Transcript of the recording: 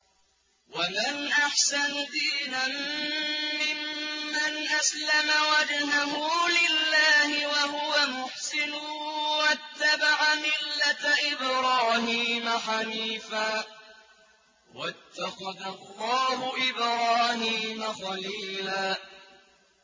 وَمَنْ أَحْسَنُ دِينًا مِّمَّنْ أَسْلَمَ وَجْهَهُ لِلَّهِ وَهُوَ مُحْسِنٌ وَاتَّبَعَ مِلَّةَ إِبْرَاهِيمَ حَنِيفًا ۗ وَاتَّخَذَ اللَّهُ إِبْرَاهِيمَ خَلِيلًا